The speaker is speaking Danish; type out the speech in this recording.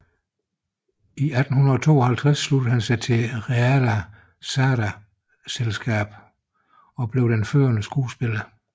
I 1852 sluttede han sig til Reale Sarda teaterselskabet og blev den førende skuespiller